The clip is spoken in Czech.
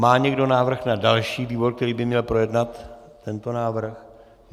Má někdo návrh na další výbor, který by měl projednat tento návrh?